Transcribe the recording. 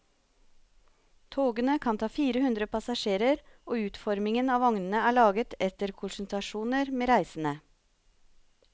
Togene kan ta fire hundre passasjerer, og utformingen av vognene er laget etter konsultasjoner med reisende.